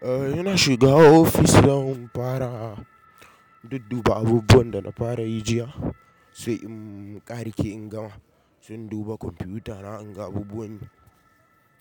Eh, ina shiga office don in fara dudduba abubuwan dana farayi jiya sai in ƙarike in gama. Sai in duba computer na inga abubuwan.